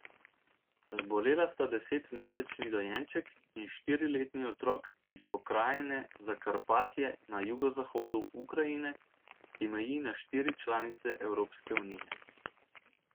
Zbolela sta desetmesečni dojenček in štiriletni otrok iz pokrajine Zakarpatje na jugozahodu Ukrajine, ki meji na štiri članice Evropske unije.